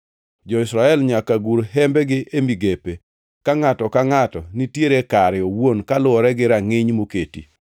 Jo-Israel nyaka gur hembegi e migepe, ka ngʼato ka ngʼato nitiere kare owuon kaluwore gi rangʼiny moketi.